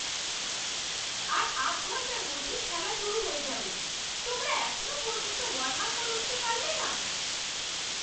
আর আধ ঘণ্টার মধ্যে খেলা শুরু হয়ে যাবে। তোমরা এখনও পর্যন্ত ওয়ার্ম আপ করে উঠতে পারলে না?